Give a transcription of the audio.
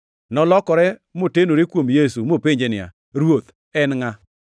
Nolokore motenore kuom Yesu mopenje niya, “Ruoth, en ngʼa?”